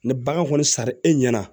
Ni bagan kɔni sara e ɲɛna